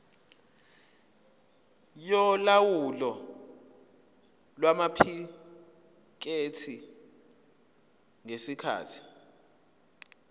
yolawulo lwamaphikethi ngesikhathi